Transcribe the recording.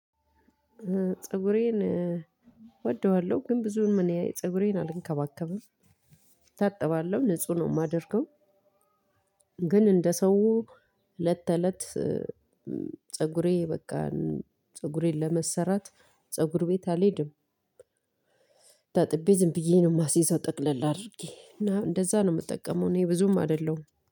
ፀጉሬን እወደዋለሁ ግን ብዙም እኔ ፀጉሬን አልንከባከብም እታጠባለሁ ንጹህ ነው የማደርገው። ግን እንደ ሰው እለተለት ፀጉሬን በቃ ፀጉሬን ለመሰራት ፀጉር ቤት አልሄድም። ታጥቤ ዝም ብዬ ነው የማስይዘው ጠቅለል አድርጌ እና እንደዛ ነው የምጠቀመው። እኔ ብዙም አይደለሁም